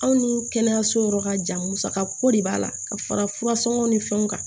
Aw ni kɛnɛyaso yɔrɔ ka jan musaka ko de b'a la ka fara furasɔngɔ ni fɛnw kan